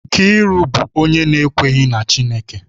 Nkiru bụ onye na-ekweghị na Chineke